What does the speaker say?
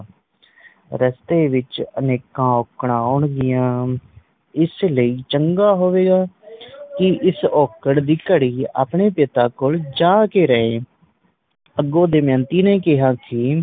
ਰਸਤੇ ਵਿਚ ਅਨੇਕਾਂ ਔਂਕੜਾ ਆਉਣਗੀਆਂ ਇਸ ਲਈ ਚੰਗਾ ਹੋਵੇਗਾ ਕਿ ਇਸ ਔਕੜ ਦੀ ਘੜੀ ਆਪਣੇ ਪਿਤਾ ਕੋਲ ਜਾ ਕੇ ਰਹੇ ਅਗੋ ਦਮਯੰਤੀ ਨੇ ਕਿਹਾ ਕਿ